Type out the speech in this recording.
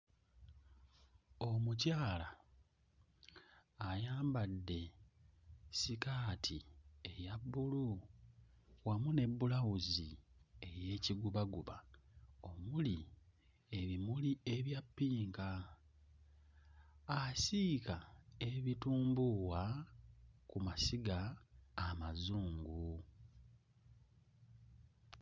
Omukyala ayambadde sikaati eya bbulu wamu ne bbulawuzi ey'ekigubaguba omuli ebimuli ebya ppinka. Asiika ebitumbuuwa ku masiga amazungu.